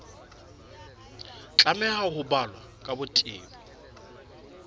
tlameha ho balwa ka botebo